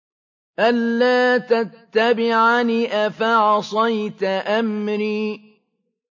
أَلَّا تَتَّبِعَنِ ۖ أَفَعَصَيْتَ أَمْرِي